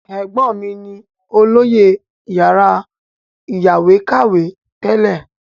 Ẹ̀gbọ́n mí ni olóyè yàrá ìyáwèékàwé tẹ́lẹ̀.